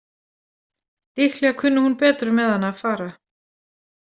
Líklega kunni hún betur með hana að fara.